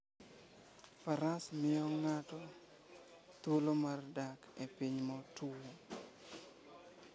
Faras miyo ng'ato thuolo mar dak e piny motwo.